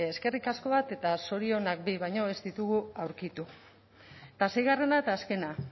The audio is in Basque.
eskerrik asko bat eta zorionak bi baino ez ditugu aurkitu eta seigarrena eta azkena